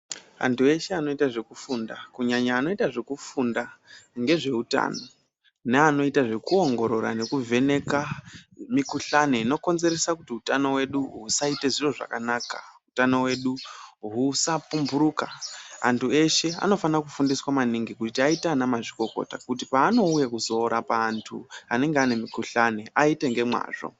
Antu eshe anoita zvekufunda kunyanya anoita zvekufunda ngezve hutano nevanoita zvekuongorora nekuvheneka mikuhlani inokonzeresa kuti utano hwedu usaite zviro zvakanaka, utano hwedu usapumhuruka antu eshe anofana kufundiswa maningi kuti aite ana mazvikokota kuti paanouya kuzorapa antu anenge aine mikuhlani aite ngemwazvo